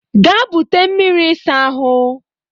Gaa bute mmiri ịsa ahụ